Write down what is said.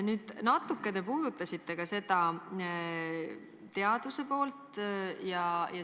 Nüüd, te natuke puudutasite teaduse poolt.